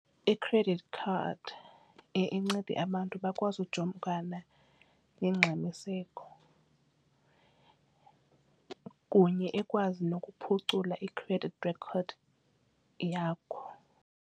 I-credit card iye incede abantu bakwazi ujongana nongxamiseko kunye ikwazi nokuphucula i-credit record yakho.